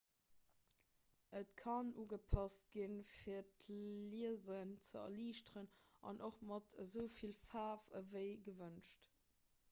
et kann ugepasst ginn fir d'liesen ze erliichteren an och mat esou vill faarf ewéi gewënscht